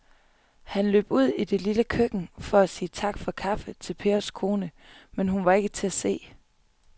Han løb ud i det lille køkken for at sige tak for kaffe til Pers kone, men hun var ikke til at se.